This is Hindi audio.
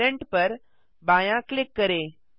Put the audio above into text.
पेरेंट पर बायाँ क्लिक करें